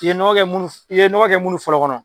I ye nɔgɔ kɛ munnu i ye nɔgɔ kɛ munnu fɔlɔ kɔnɔ.